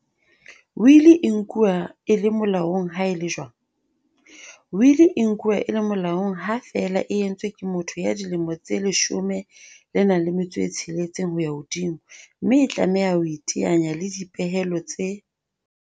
Wili e nkuwa e le mo laong ha e le jwang? Wili e nkuwa e le molaong ha feela e entswe ke motho ya dilemo tse 16 ho ya hodimo, mme e tlameha ho iteanya le dipehelo tse